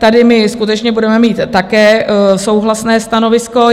Tady my skutečně budeme mít také souhlasné stanovisko.